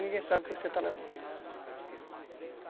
Ninguém sabe o que você está levando.